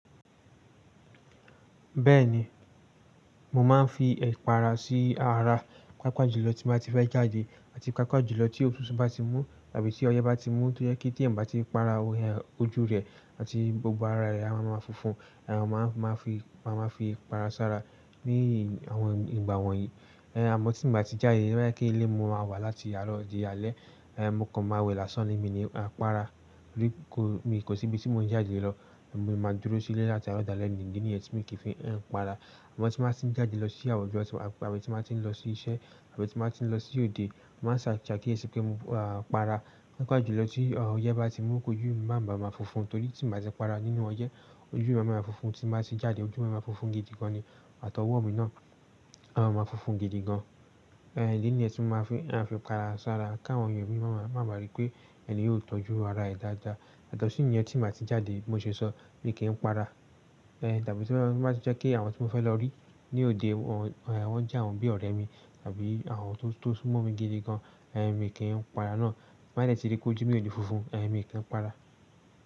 Bẹ́ẹ̀ni, mo máa ń fi ẹ̀pàrà sí ara, pàápàá jùlọ tí mo bá ti fẹ́ jáde àti pàápàá jùlọ tí otùtu bá ti mú tàbí tí ọyẹ́ bá ti mú tó yẹ kí tí ẹ̀yan bá ti para ojú rẹ àti gbogbo ara rẹ̀ a máa ma funfun. Ẹ̀hẹ̀, a máa ma fi, a máa ma fi ipàrà sára ní àwọn ìgbà wọ̀nyí. Ẹ̀hẹ̀, àmọ́ tí n bá ti jáde t'o ba je ilé ni mo máa wà láti àárọ̀ di alẹ́, ẹ̀hẹ̀, mo kàn máa wẹ lásán ni mí ní eh pàrà rí kò mi kò síbi tí mò ń jáde lọ. Mo máa dúró sílé láti àárọ̀ dálẹ́ ni, idí níyẹn ti mi kì í fi n pàrà. Àmọ́ tí mo bá ti ń jáde lọ síse àwọn ọjọ tàbí tí mo bá ti ń lọ sí iṣẹ́ tàbí tí mo bá ti ń lọ sí òde, màá ṣà sakiyesi pé mo pàrà. Pàápàá jùlọ tí ọyẹ́ bá ti mú kó jú mi máa má fùnfun nítorí tí mo bá ti pàrà nínú ọyẹ́ ojú mi máa ma fùnfun, tí mo bá ti jáde ojú mi máa ma fùnfun gidi gan ni àtọwọ́ mi náà a máa fùnfun gidi gan. Ẹ̀hẹ̀, idíní yẹn ti mo máa fi n afi pàrà sára káwọn èyàn mi ma máa ma máa rí pé ẹni yóò tọ́jú ara ẹ̀ dáadáa. Yatọ̀ sí yẹ́n tí mo bá ti jáde bi mo ṣe sọ bí kí ń pàrà. Ẹ̀hn, tàbí tí mo bá ti jẹ́ kí àwọn tí mo fẹ́ lọ rí ní òde wọn jẹ́ àwọn bí ọ̀rẹ́ mi tàbí àwọn tó súnmọ́ mi gidi gan, ẹ̀hn, mi kì í pàrà náà. Ti ń ba dẹ̀ tíi ri pé ojú mi ò ni fùnfun, ẹ̀hn, mi kì í pàrà.